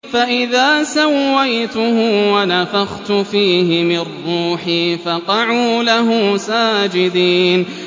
فَإِذَا سَوَّيْتُهُ وَنَفَخْتُ فِيهِ مِن رُّوحِي فَقَعُوا لَهُ سَاجِدِينَ